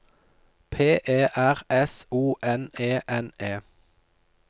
P E R S O N E N E